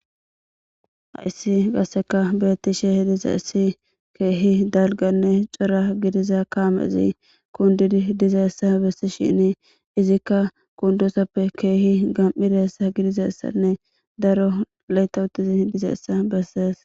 Hayssi qasseka beettishe hidiza issi keehi dalganne cora gidiza kaamezi kundidi dizaessa bessi shini izikka kundosappe keehi gam7idaessa gidizaessanne daro layta uttizi dizaessa bessees.